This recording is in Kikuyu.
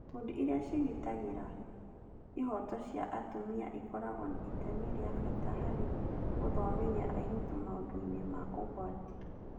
Ikundi iria ciĩgitagĩra ihooto cia atumia ikoragwo na itemi rĩa bata harĩ gũthomithia airĩtu maũndũ-inĩ ma ũgwati